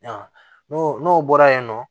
N'o n'o bɔra yen nɔ